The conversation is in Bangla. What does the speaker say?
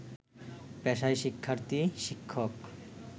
পেশায় শিক্ষার্থী, শিক্ষক